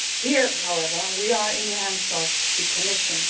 Here, however, we are in the hands of the Commission.